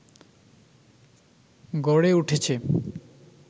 গড়ে উঠেছে